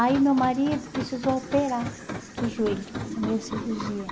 Aí meu marido precisou operar do joelho, por meio de cirurgia.